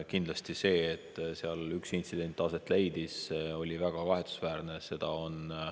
Kindlasti see, et seal üks intsident aset leidis, on väga kahetsusväärne.